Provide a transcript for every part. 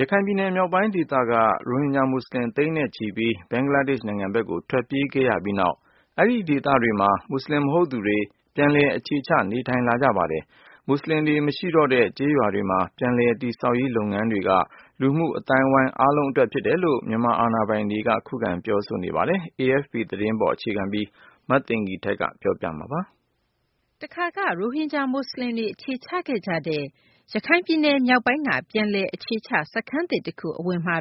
ရခိုင်ပြည်နယ် မြောက်ပိုင်း ဒေသကနေ ရိုဟင်ဂျာ မူဆလင် သိန်းနဲ့ချီပြီး ဘင်္ဂလားဒေရှ့် နိုင်ငံဘက်ကို ထွက်ပြေးခဲ့ကြရပြီး နောက်မှာတော့ အဲဒီ ဒေသတွေမှာ မူဆလင် မဟုတ်သူတွေ ပြန်လည် အခြေချ နေထိုင်လာကြပါတယ်။ မူဆလင်တွေ မရှိတော့တဲ့ ကျေးရွာတွေမှာ ပြန်လည် တည်ဆောက်ရေး လုပ်ငန်းတွေက လူမှုအသိုင်းအဝိုင်း အားလုံး အတွက် ဖြစ်တယ်လို့ မြန်မာအာဏာပိုင်တို့ ခုခံ ပြောဆိုနေကြတာပါ။ AFP သတင်းကို အခြေခံပြီး မသိင်္ဂ ီထိုက် ပြောပြပေးမှာပါ။ တခါက ရိုဟင်ဂျာ မူဆလင်တွေ အခြေချခဲ့ကြတဲ့ ရခိုင်ပြည်နယ် မြောက်ပိုင်းက ပြန်လည် အခြေချ စခန်းသစ်တခု အဝင်မှာ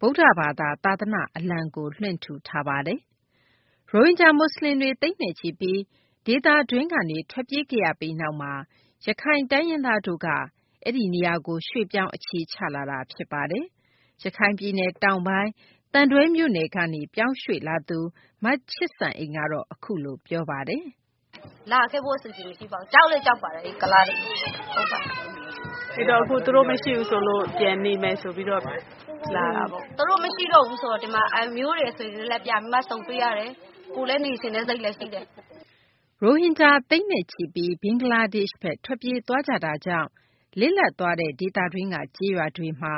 ဗုဒ္ဓဘာသာ သာသနာ့ အလံကိုလွှင့်ထူထားပါတယ်။ ရိုဟင်ဂျာ မူဆလင်တွေ သိန်းနဲ့ချီပြီး ဒေသတွင်းကနေ ထွက်ပြေးခဲ့ရပြီး နောက်မှာ ရခိုင် တိုင်းရင်းသားတို့က အဲဒီနေရာကို ရွှေ့ပြောင်း အခြေချလာကြတာပါ။ ရခိုင်ပြည်နယ် တောင်ပိုင်း သံတွဲမြို့နယ်ကနေ ပြောင်းရွှေ့ လာသူ မချစ်စံအိမ် ကတော့ အခုလို ပြောပါတယ်။ "လာခဲ့ဖို့ အစီအစဉ်မရှိပါဘူး ကြောက်လည်းကြောက်ပါတယ် အဲ့ကုလားတွေကိုလေ။ အဲ့တော့ သူတို့မရှိတော့ဘူးဆိုပြီး ပြန်ပြီးနေဖို့ လာတာပေါ့ " သူတို့မရှိတော့ဘူးဆိုတော့ ဒီမှာ အမျိုးတွေ အဆွေတွေနဲ့ ပြန်ပြီး ဆုံတွေ့ရတယ်။ ကိုယ်လည်း နေချင်တဲ့စိတ်လည်းရှိတယ်" ရိုဟင်ဂျာ သိန်းနဲ့ချီပြီး ဘင်္ဂလားဒေရှ့်ဘက် ထွက်ပြေးသွားကြတာကြောင့် လစ်လပ် သွားတဲ့ ဒေသတွင်းက ကျေးရွာတွေမှာ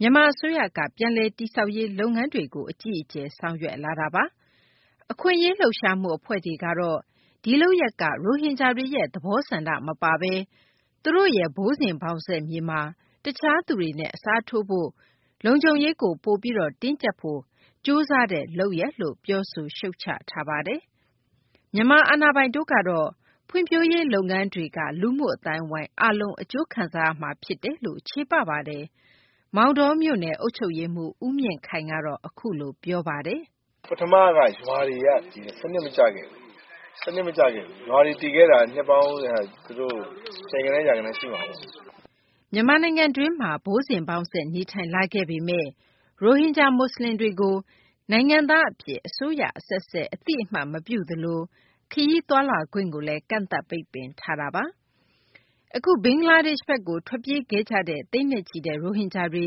မြန်မာ အစိုးရက ပြန်လည်တည်ဆောက်ရေး လုပ်ငန်းတွေကို အကြီးအကျယ် ဆောင်ရွက်လာတာပါ။ အခွင့်အရေး လှုပ်ရှားမှု အဖွဲ့တွေကတော့ ဒီလုပ်ရပ်က ရိုဟင်ဂျာတွေရဲ့ သဘောဆန္ဒ မပါဘဲ သူတို့ရဲ့ ဘိုးစဉ်ဘောင်ဆက် မြေမှာ တခြားသူတွေနဲ့ အစားထိုးဖို့၊ လုံခြုံရေးကို ပိုပြီး တင်းကျပ်နိုင်ဖို့ ကြိုးစားတဲ့ လုပ်ရပ်လို့ ပြောဆိုရှုတ်ချထားတာပါ။ မြန်မာ အာဏာပိုင်တွေကတော့ ဖွံ့ဖြိုးရေး လုပ်ငန်းတွေက လူမှုအသိုင်းအဝိုင်း အားလုံး အကျိုးခံစားရမှာ ဖြစ်တယ်လို့ ချေပပါတယ်။ မောင်တောမြို့နယ် အုပ်ချုပ်ရေးမှူး ဦးမြင့်ခိုင်ကတော့ အခုလို ပြောပါတယ်။ "ပထမက ရွာတွေက စနစ်မကျခဲ့ဘူး။ စနစ်မကျခဲ့တာက ရွာတွေ တည်ခဲ့တာက နှစ်ပေါင်း သူတို့ ဆယ်ဂဏန်း ရာဂဏန်းရှိမှာပေါ့။" မြန်မာနိုင်ငံတွင်းမှာ ဘိုးစဉ်ဘောင်ဆက် နေထိုင်လာခဲ့ပေမယ့် ရိုဟင်ဂျာ မူဆလင်တွေကို နိုင်ငံသား အဖြစ် အစိုးရ အဆက်ဆက် အတည်မပြုသလို ခရီးသွားလာခွင့်ကိုလည်း ကန့်သတ်ပိတ်ပင်ထားတာပါ။ အခု ဘင်္ဂလားဒေရှ့်ဘက်ကို ထွက်ပြေးခဲ့ကြတဲ့ သိန်းနဲ့ချီတဲ့ ရိုဟင်ဂျာတွေ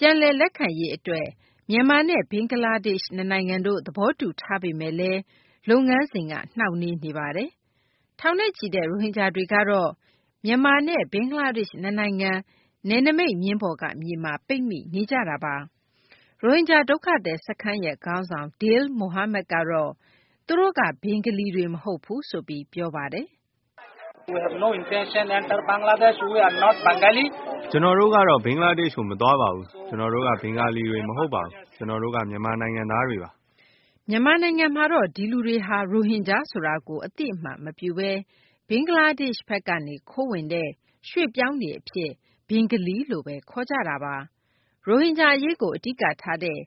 ကို ပြန်လည် လက်ခံရေး အတွက် မြန်မာနဲ့ ဘင်္ဂလားဒေရှ့် နှစ်နိုင်ငံတို့ သဘောတူထားပေမယ့်လည်း လုပ်ငန်းစဉ်က နှောင့်နှေးနေတာပါ။ ထောင်နဲ့ချီတဲ့ ရိုဟင်ဂျာတွေကတော့ မြန်မာနဲ့ ဘင်္ဂလားဒေရှ့် နှစ်နိုင်ငံ နယ်နိမိတ်မျဉ်းပေါ်က မြေမှာ ပိတ်မိနေကြတာပါ။ ရိုဟင်ဂျာ ဒုက္ခသည် စခန်းခေါင်းဆောင် Dil Mohamed ကတော့ သူတို့က ဘင်္ဂလီတွေ မဟုတ်ဘူးဆိုပြီး ပြောပါတယ်။ "ကျနော်တို့ကတော့ ဘင်္ဂလားဒေရှ့်ကို မသွားပါဘူး။ ကျနော်တို့က ဘင်္ဂါလီတွေ မဟုတ်ပါဘူး။ ကျနော်တို့က မြန်မာ နိုင်ငံသားတွေပါ။" မြန်မာနိုင်ငံမှာတော့ ဒီလူတွေဟာ ရိုဟင်ဂျာဆိုတာကို အသိအမှတ်မပြုဘဲ ဘင်္ဂလားဒေရှ့်ဘက် ကနေ ခိုးဝင်တဲ့ ရွှေ့ပြောင်းတွေအဖြစ် ဘင်္ဂလီလို့ဘဲ ခေါ်ကြတာပါ။ ရိုဟင်ဂျာ အရေးကို အဓိကထားတဲ့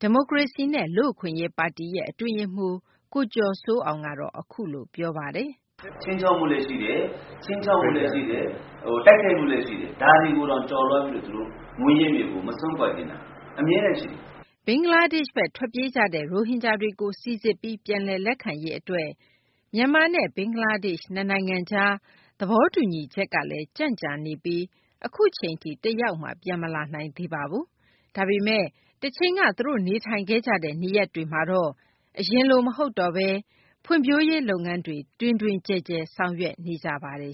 ဒီမိုကရေစီနဲ့ လူ့အခွင့်အရေးပါတီ ရဲ့ အတွင်းရေးမှူး ကိုကျော်စိုးအောင်ကတော့ အခုလို ပြောပါတယ်။ "ခြိမ်းခြောက်မှုလည်း ရှိတယ် ခြိမ်းခြောက်တာလည်းရှိတယ် တိုက်ခိုက်မှုလည်း ရှိတယ် ဒါတွေကိုတောင် ကျော်လွှားပြီး သူတို့မွေးရပ်မြေကို မစွန့်ခွာချင်တာ။ အမြဲတမ်းရှိတယ်။" ဘင်္ဂလားဒေရှ့်ဘက် ထွက်ပြေးကြတဲ့ ရိုဟင်ဂျာတွေကို စိစစ်ပြီး ပြန်လည် လက်ခံရေး အတွက် မြန်မာနဲ့ ဘင်္ဂလားဒေရှ့် နှစ်နိုင်ငံကြား သဘောတူညီချက်ကလည်း ကြံံ့ကြာနေပြီး အခုအချိန်ထိ တယောက်မှ ပြန်မလာနိုင်သေးပါဘူး။ ဒါပေမယ့် တချိန်က သူတို့ နေထိုင်ခဲ့ကြတဲ့ နေရပ်တွေမှာတော့ အရင်လို မဟုတ်တော့ဘဲ ဖွံ့ဖြိုးရေး လုပ်ငန်းတွေ တွင်တွင်ကျယ်ကျယ် ဆောင်ရွက်နေကြပါတယ်